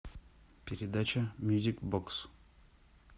передача мьюзик бокс